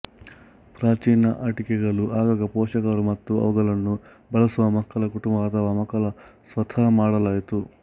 ಪ್ರಾಚೀನ ಆಟಿಕೆಗಳು ಆಗಾಗ ಪೋಷಕರು ಮತ್ತು ಅವುಗಳನ್ನು ಬಳಸುವ ಮಕ್ಕಳ ಕುಟುಂಬ ಅಥವಾ ಮಕ್ಕಳ ಸ್ವತಃ ಮಾಡಲಾಯಿತು